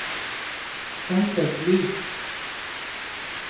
dempet lys